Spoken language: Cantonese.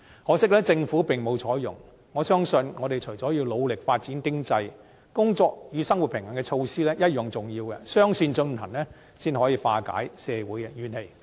可惜，政府並無採用，我相信我們除了要努力發展經濟，"工作與生活平衡"措施同樣重要，雙線進行，才可化解社會的怨氣。